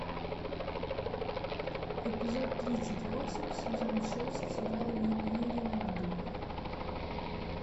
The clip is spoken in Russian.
эпизод тридцать восемь сезон шесть сериал юрий на льду